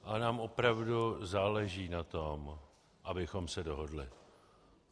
Ale nám opravdu záleží na tom, abychom se dohodli.